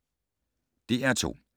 DR2